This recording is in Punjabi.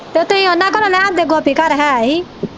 ਤੇ ਤੁਹੀ ਉਹਨਾਂ ਘਰੋਂ ਲੈ ਆਉਂਦੇ ਗੋਪੀ ਘਰ ਹੈ ਹੀ।